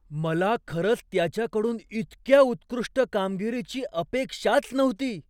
मला खरंच त्याच्याकडून इतक्या उत्कृष्ट कामगिरीची अपेक्षाच नव्हती.